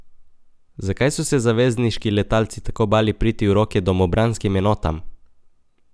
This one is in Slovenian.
Zakaj so se zavezniški letalci tako bali priti v roke domobranskim enotam?